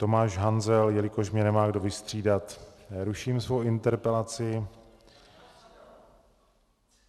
Tomáš Hanzel - jelikož mě nemá kdo vystřídat, ruším svou interpelaci.